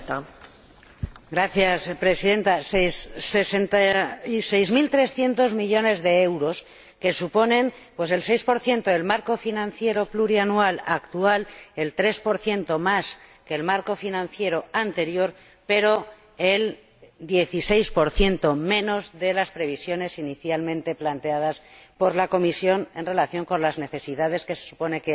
Señora Presidenta, sesenta y seis mil trescientos millones de euros, que suponen el seis por ciento del marco financiero plurianual actual, el tres por ciento más que el marco financiero anterior, pero el dieciséis por ciento menos que las previsiones inicialmente planteadas por la Comisión en relación con las necesidades que se supone